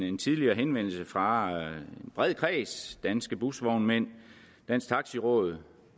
en tidligere henvendelse fra en bred kreds danske busvognmænd dansk taxi råd